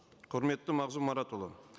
құрметті мағзұм маратұлы